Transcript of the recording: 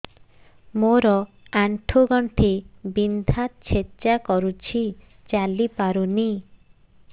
ମୋର ଆଣ୍ଠୁ ଗଣ୍ଠି ବିନ୍ଧା ଛେଚା କରୁଛି ଚାଲି ପାରୁନି